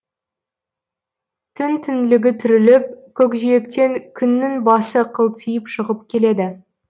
түн түңлігі түріліп көкжиектен күннің басы қылтиып шығып келеді